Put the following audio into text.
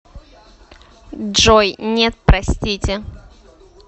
джой нет простите